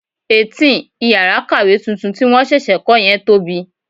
18. Ìyàrá kàwé tuntun tí wọn ṣẹ̀ṣẹ̀ kò yẹn tóbi.